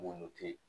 Mun te